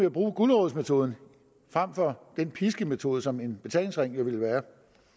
at bruge gulerodsmetoden frem for den piskemetode som en betalingsring jo ville være